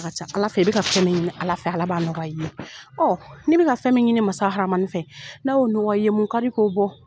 Ala ka ca Ala fɛ,I bɛ ka fɛn min ɲini Ala fɛ, Ala b'a nɔgɔ i ye. ne bɛ ka fɛn min ɲini Masa Rahamani fɛ, n'a y'o nɔgɔya i ye. Mun ka di k'o bɔ.